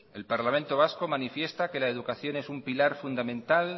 el parlamento vasco manifiesta que la educación es un pilar fundamental